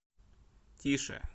тише